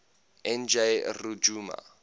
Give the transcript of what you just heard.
n g rjuna